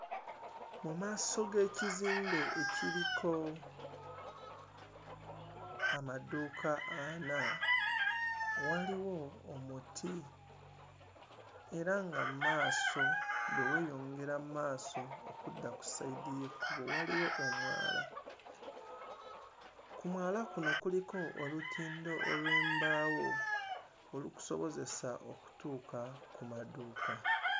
Mu maaso g'ekizimbe ekiriko amaduuka ana waliwo omuti era nga mu maaso, bwe weeyongera mu maaso okudda ku sayidi y'ekkubo waliwo omwala, ku mwala kuno kuliko olutindo olw'embaawo olukusobozesa okutuuka ku maduuka.